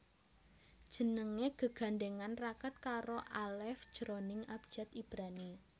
Jenengé gegandhèngan raket karo alef jroning abjad Ibrani